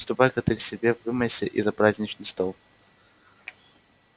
ступай-ка ты к себе вымойся и за праздничный стол